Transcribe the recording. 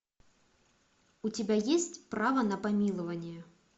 у тебя есть право на помилование